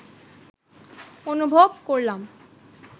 অনুভব করলাম